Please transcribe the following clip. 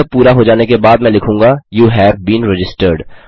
यह पूरा हो जाने के बाद मैं लिखूँगा यू हेव बीन रजिस्टर्ड